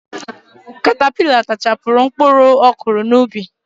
Katapila tachapụrụ mkpụrụ ọ kụrụ n'ubi.